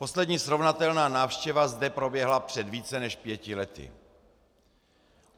Poslední srovnatelná návštěva zde proběhla před více než pěti lety.